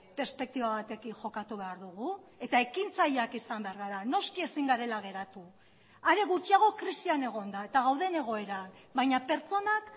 perspektiba batekin jokatu behar dugu eta ekintzaileak izan behar gara noski ezin garela geratu are gutxiago krisian egonda eta gauden egoeran baina pertsonak